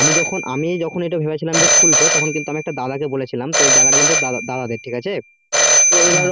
আমি যখন, আমি যখন ভেবেছিলাম যে এটা খুলবো তখন একটা দাদা কে বলেছিলাম যে এটা জায়গাটা কিন্তু দাদাদের ঠিক আছে ও তো এবার